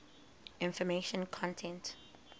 information content